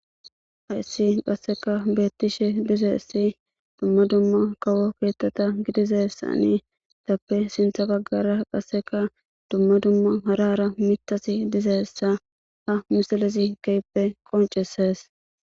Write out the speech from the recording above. Haissi qasseka beettishe dize issi dumma dumma kawo keettata gidizessanetappe sintha baggara qasseka dumma dumma harara mitasi dizeessa ha misilizi keyppe qoncesees